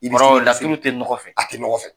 Laturu ti nɔgɔ fɛ? A ti nɔgɔ fɛ.